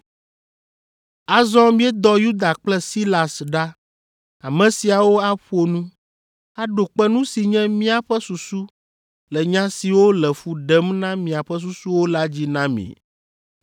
Azɔ míedɔ Yuda kple Silas ɖa, ame siawo aƒo nu, aɖo kpe nu si nye míaƒe susu le nya siwo le fu ɖem na miaƒe susuwo la dzi na mi.